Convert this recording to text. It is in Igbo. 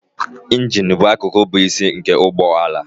Injin bụ akụkụ bụ isi nke ụgbọ ala